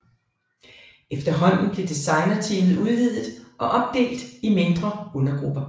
Efterhånden blev designerteamet udvidet og opdelt i mindre undergrupper